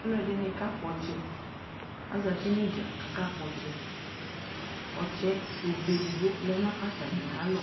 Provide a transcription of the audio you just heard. Ɔlu ɛdini kakpɔ ɔtsɛ aza uti nu idza ku akakpɔ ɔtsɛ obe edigbo lɛ nu atami alɔ